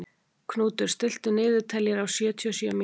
Knútur, stilltu niðurteljara á sjötíu og sjö mínútur.